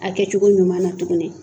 A kɛ cogo ɲuman na tuguni.